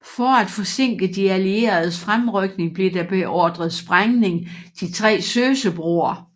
For at forsinke de allieredes fremrykning blev der beordret sprængning de tre Sösebroer